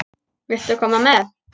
Viltu koma með?